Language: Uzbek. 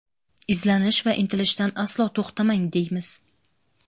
izlanish va intilishdan aslo to‘xtamang deymiz!.